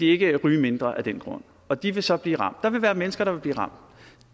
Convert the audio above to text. ikke vil ryge mindre af den grund og de vil så blive ramt der vil være mennesker der vil blive ramt